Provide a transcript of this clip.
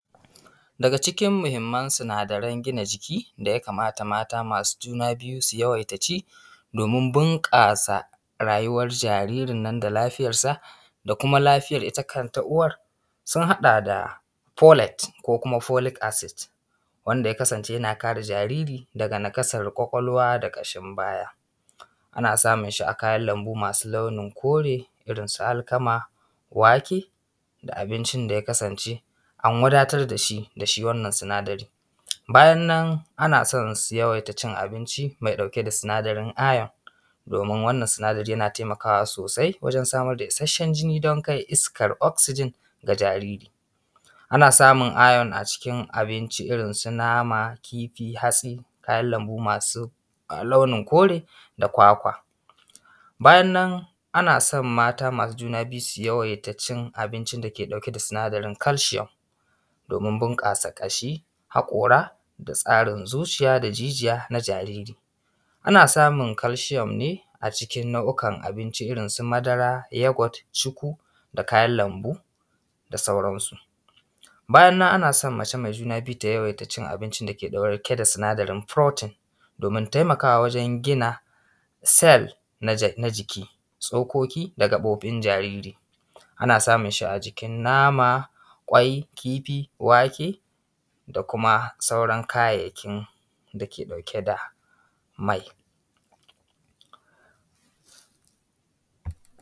Daga cikin muhimman sinadaran gina jiki da ya kamata mata masu juna biyu su yawaita ci, domin bunƙasa rayuwar jaririn nan da lafiyar sa, da kuma lafiyar ita kanta uwar, sun haɗa da folate ko kuma folic acid, ya kasance yana kare jariri daga nakasar ƙwaƙwalwa da ƙashin baya. Ana samun shi a kayan lambu masu launin kore, irin su alkama, wake da abincin da ya kasance an wadatar dashi wannan sinadari. Bayan nan ana son su yawaita cin abinci mai ɗauke da sinadarin iron, domin wannan sinadari yana taimakawa sosai wajen samar da isashshen jini don kai iskar oxygen ga jariri. Ana samun iron a cikin abinci irin su nama, kifi, hatsi, kayan lambu masu launin kore da kwakwa. Bayan nan ana son mata masu juna biyu su yawaita cin abincin dake ɗauke da sinadarin calcium domin bunƙasa ƙashi, haƙora da tsarin zuciya da jijiya na jariri, ana samun calcium ne acikin nau’ikan abinci irin su madara, yogurt, cukwui da kayan lambu da sauran su. Bayan nan ana son mace mai juna biyu ta yawaita cin abincin da ke ɗauke da sinadarin protein, domin taimakawa wajen gina cell na jiki, tsokoki da gaɓoɓin jariri, ana samun shi ajikin nama, ƙwai, kifi, wake da kuma sauran kayayyakin dake ɗauke da mai.